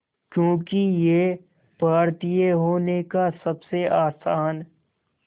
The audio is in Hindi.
क्योंकि ये भारतीय होने का सबसे आसान